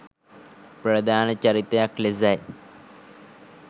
ප්‍රධාන චරිතයක් ලෙසයි